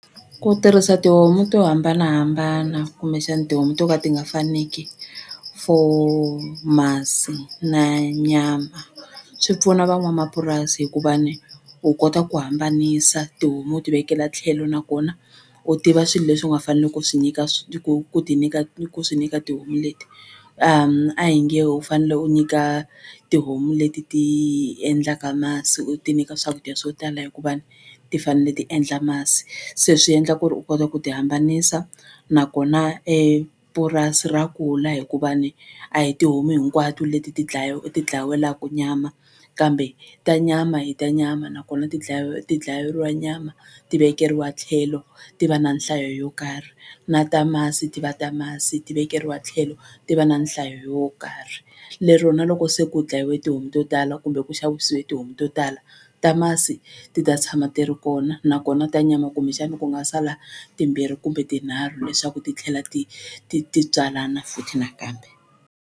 Ku tirhisa tihomu to hambanahambana kumbexana tihomu to ka ti nga faniki for masi na nyama swi pfuna van'wamapurasi hikuva ni u kota ku hambanisa tihomu ti vekela tlhelo nakona u tiva swilo leswi u nga fanele ku swi nyika ku ku ti nyika ku swi nyika tihomu leti a hi nge u fanele u nyika tihomu leti ti endlaka masi u ti nyika swakudya swo tala hikuva ni ti fanele ti endla masi se swi endla ku ri u kota ku ti hambanisa nakona purasi ra kula hikuva ni a hi tihomu hinkwato leti ti ti dlayiwelaku nyama kambe ta nyama i ta nyama nakona ti ti dlayeriwa nyama ti vekeriwa tlhelo ti va na nhlayo yo karhi na ta masi ti va ta masi ti vekeriwa tlhelo ti va na nhlayo yo karhi lero na loko se ku dlayiwe tihomu to tala kumbe ku xavisiwe tihomu to tala ta masi ti ta tshama ti ri kona nakona ta nyama kumbexani ku nga sala timbirhi kumbe tinharhu leswaku ti tlhela ti ti ti tswalana futhi nakambe.